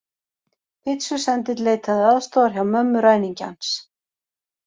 Pitsusendill leitaði aðstoðar hjá mömmu ræningjans